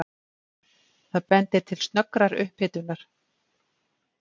Það bendir til snöggrar upphitunar.